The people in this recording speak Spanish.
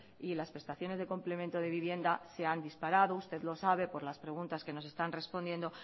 y las prestaciones de complemento de vivienda se han disparado usted lo sabe por las preguntas que nos están respondiendo